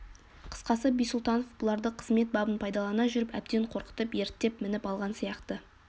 қысқасы бисұлтанов бұларды қызмет бабын пайдалана жүріп әбден қорқытып ерттеп мініп алған сияқты